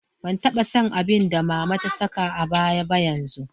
Ban taba son abin da mama ta saka a baya ba yanzu.